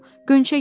Qönçə yedi.